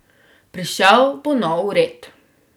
Prišel bo nov red.